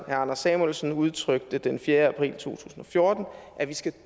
anders samuelsen udtrykte den fjerde april to tusind og fjorten om at vi skal